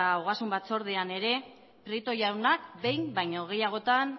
ogasun batzordean ere prieto jaunak behin baino gehiagotan